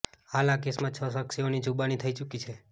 હાલ આ કેસમાં છ સાક્ષીઓની જુબાની થઇ ચુકી છે